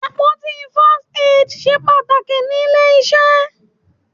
Àpótí First Aid ṣe pàtàkì níle iṣẹ́.